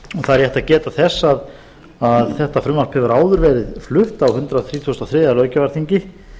það er rétt að geta þess að þetta frumvarp hefur áður verið flutt á hundrað þrítugasta og þriðja löggjafarþingi